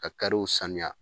Ka sanuya